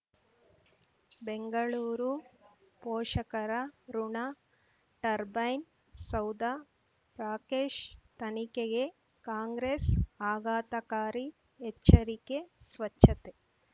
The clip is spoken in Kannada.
ಬೆಂಗಳೂರು ಪೋಷಕರಋಣ ಟರ್ಬೈನ್ ಸೌಧ ರಾಕೇಶ್ ತನಿಖೆಗೆ ಕಾಂಗ್ರೆಸ್ ಆಘಾತಕಾರಿ ಎಚ್ಚರಿಕೆ ಸ್ವಚ್ಛತೆ